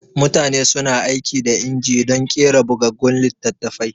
Mutane suna aiki da inji dun ƙera bugaggun littatafai